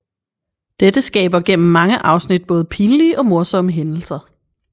Dette skaber gennem mange afsnit både pinlige og morsomme hændelser